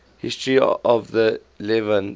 history of the levant